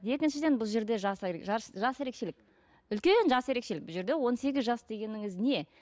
екіншіден бұл жерде жас жас жас ерекшелік үлкен жас ерекшелік бұл жерде он сегіз жас дегеніңіз не